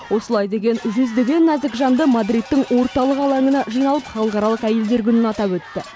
осылай деген жүздеген нәзік жанды мадридтің орталық алаңына жиналып халықаралық әйелдер күнін атап өтті